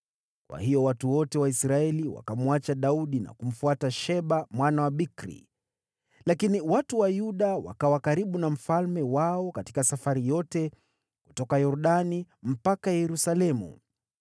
Kwa hiyo watu wote wa Israeli wakamwacha Daudi na kumfuata Sheba mwana Bikri. Lakini watu wa Yuda wakawa karibu na mfalme wao katika safari yote kutoka Yordani mpaka Yerusalemu.